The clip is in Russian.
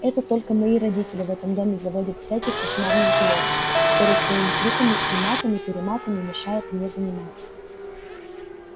это только мои родители в этом доме заводят всяких кошмарных животных которые своими криками и матами-перематами мешают мне заниматься